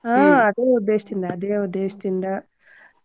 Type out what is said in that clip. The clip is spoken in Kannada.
ಹಾ ಅದೇ ಉದ್ದೇಶ್ ದಿಂದ ಅದೇ ಉದ್ದೇಶ್ ದಿಂದ.